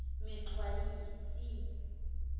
mexwayisi